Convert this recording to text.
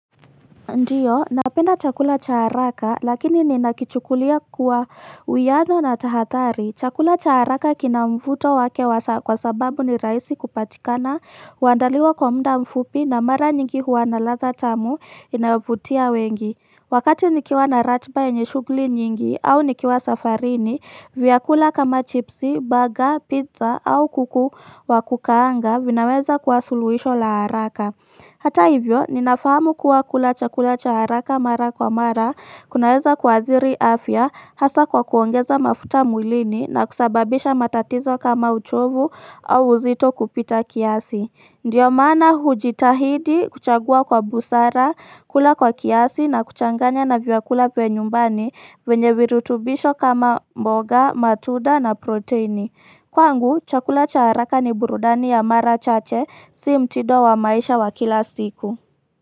Ndiyo, napenda chakula cha haraka, lakini ninakichukulia kuwa uyano na tahadhari. Chakula cha haraka kinamvuto wake kwa sababu ni rahisi kupatikana, huandaliwa kwa mda mfupi na mara nyingi huwana ladha tamu inayovutia wengi. Wakati nikiwa na ratba yenye shughuli nyingi au nikiwa safarini, vyakula kama chipsi, burger, pizza au kuku wa kukaanga, vinaweza kwa suluhisho la haraka. Hata hivyo, ninafahamu kuwa kula chakula cha haraka mara kwa mara, kunaweza kuathiri afya, hasa kwa kuongeza mafuta mwilini na kusababisha matatizo kama uchovu au uzito kupita kiasi. Ndiyo maana hujitahidi kuchagua kwa busara, kula kwa kiasi na kuchanganya na vyakula vya nyumbani vyenye virutubisho kama mbonga, matunda na proteini. Kwangu, chakula cha haraka ni burudani ya mara chache si mtido wa maisha wa kila siku.